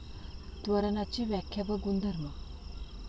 त्वरणाची व्याख्या व गुणधर्म